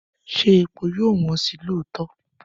Ṣé epo yóò wọ́n sí lóòótọ́?